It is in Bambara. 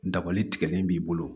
Dabali tigɛlen b'i bolo